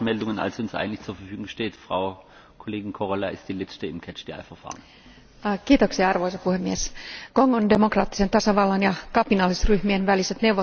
Arvoisa puhemies, Kongon demokraattisen tasavallan ja kapinallisryhmien väliset neuvottelut ovat olleet jäissä toukokuulta saakka ja väkivallan määrä itäisessä Kongossa on kasvanut entisestään.